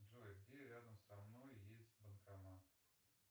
джой где рядом со мной есть банкомат